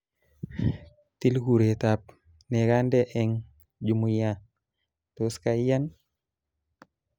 Til kuretab nekandenee eng Jumia, tos kaiyan